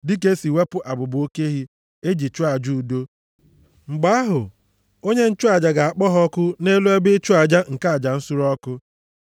dịka e si ewepụ abụba oke ehi e ji chụọ aja udo. Mgbe ahụ, onye nchụaja ga-akpọ ha ọkụ nʼelu ebe ịchụ aja nke aja nsure ọkụ.